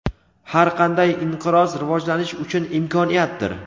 Har qanday inqiroz rivojlanish uchun imkoniyatdir.